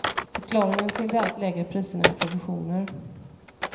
Förklaringen till de allt lägre priserna är provisioner.